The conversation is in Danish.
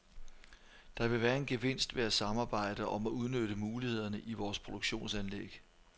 Der vil være en gevinst ved at samarbejde om at udnytte mulighederne i vores produktionsanlæg.